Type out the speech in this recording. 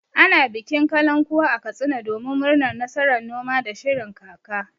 Ana bikin kalankuwa a Katsina domin murnar nasarar noma da shirin kaka.